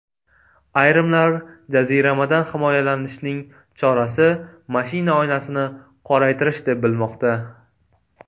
Ayrimlar jaziramadan himoyalanishning chorasi mashina oynasini qoraytirish deb bilmoqda.